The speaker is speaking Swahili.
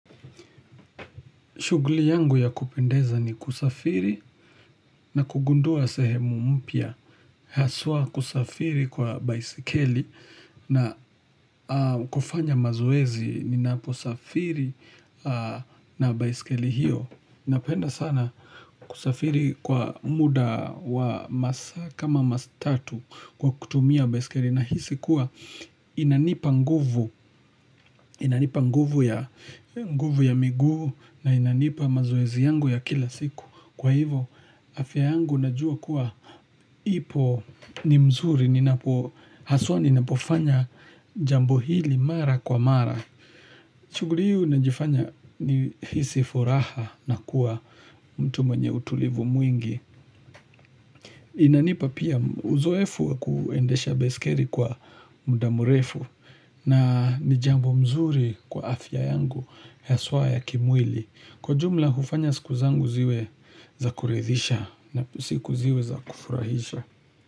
Shughuli yangu ya kupendeza ni kusafiri na kugundua sehemu mpya. Haswa kusafiri kwa baisikeli na kufanya mazoezi ninaposafiri na baisikeli hiyo. Napenda sana kusafiri kwa muda wa masaa kama matatu kwa kutumia baisikeli. Nahisi kuwa inanipa nguvu Inanipa nguvu ya miguu na inanipa mazoezi yangu ya kila siku Kwa hivyo afya yangu najua kuwa ipo ni mzuri Haswa ninapofanya jambo hili mara kwa mara shughuli unajifanya nihisi furaha na kuwa mtu mwenye utulivu mwingi Inanipa pia uzoefu wa kuendesha baisikeli kwa muda mrefu na ni jambo mzuri kwa afya yangu haswa ya kimwili kwa jumla hufanya siku zangu ziwe za kuridhisha na siku ziwe za kufurahisha.